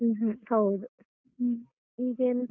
ಊಹೂಂ, ಹೌದು ಹ್ಮೂ. ಈಗ ಎಂತ.